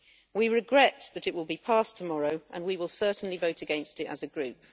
We regret that it will be passed tomorrow and we will certainly vote against it as a group.